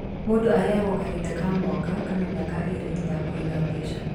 Mũndũ aheagwo kahinda ka mwaka kana miaka ĩrĩ ya kũiga mbeca